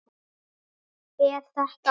Er þetta hún?